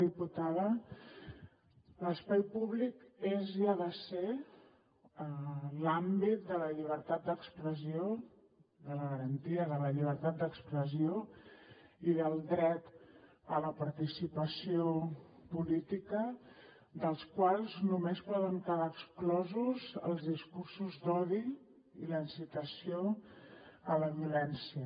diputada l’espai públic és i ha de ser l’àmbit de la llibertat d’expressió de la garantia de la llibertat d’expressió i del dret a la participació política dels quals només poden quedar exclosos els discursos d’odi i la incitació a la violència